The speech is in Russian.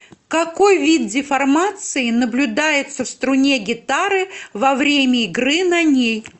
какой вид деформации наблюдается в струне гитары во время игры на ней